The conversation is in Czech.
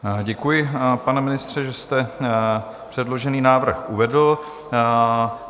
Děkuji, pane ministře, že jste předložený návrh uvedl.